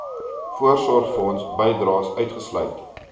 voorsorgfonds bydraes uitgesluit